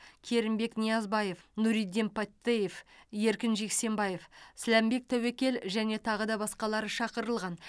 керімбек ниязбаев нуриддин паттеев еркін джексембаев сламбек тәуекел және тағы да басқалары шақырылған